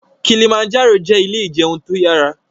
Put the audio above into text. Kilimanjaro jẹ ilé ìjẹun tó yára